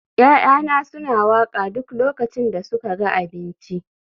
ya'yana suna waƙa a duk lokacin da suka ga abinci